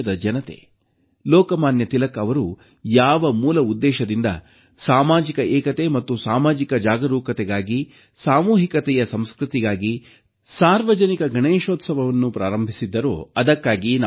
ದೇಶದ ಜನತೆ ಲೋಕಮಾನ್ಯ ತಿಲಕ್ ಅವರು ಯಾವ ಮೂಲ ಉದ್ದೇಶದಿಂದ ಸಾಮಾಜಿಕ ಏಕತೆ ಮತ್ತು ಸಾಮಾಜಿಕ ಜಾಗೃತಿಗಾಗಿ ಸಾಮೂಹಿಕ ಸಂಸ್ಕೃತಿಗಾಗಿ ಸಾರ್ವಜನಿಕ ಗಣೇಶೋತ್ಸವವನ್ನು ಪ್ರಾರಂಭಿಸಿದ್ದರು ಎಂಬುದನ್ನು ಮನಗಾಣಬೇಕು